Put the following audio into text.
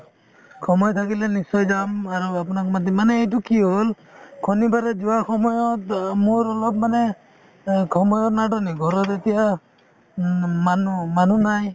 সময় থাকিলে নিশ্চয় যাম আৰু আপোনাক মাতিম মানে এইটো কি হ'ল শনিবাৰে যোৱাৰ সময়ত অ মোৰ অলপ মানে অ সময়ৰ নাটনি ঘৰত এতিয়া উম মানুহ~ মানুহ নাই